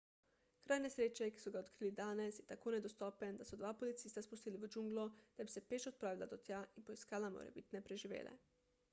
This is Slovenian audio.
kraj nesreče ki so ga odkrili danes je tako nedostopen da so dva policista spustili v džunglo da bi se peš odpravila do tja in poiskala morebitne preživele